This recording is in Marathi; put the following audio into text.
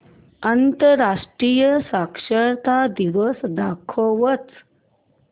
आंतरराष्ट्रीय साक्षरता दिवस दाखवच